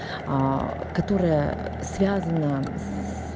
которая связана